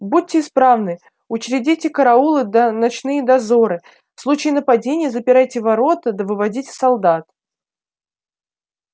будьте исправны учредите караулы да ночные дозоры в случае нападения запирайте ворота да выводите солдат